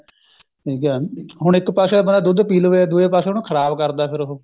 ਠੀਕ ਐ ਹੁਣ ਇੱਕ ਪਾਸੇ ਤਾਂ ਦੁੱਧ ਪੀ ਲਵੇ ਦੂਏ ਪਾਸੇ ਉਹਨੂੰ ਖ਼ਰਾਬ ਕਰਦਾ ਫੇਰ ਉਹ